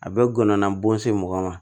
A bɛ gɔnɔbo se mɔgɔ ma